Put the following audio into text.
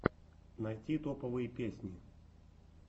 найти топовые песни